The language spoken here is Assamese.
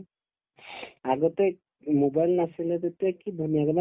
আগতে mobile নাছিলে তেতিয়া কি ধুনীয়াকে মানে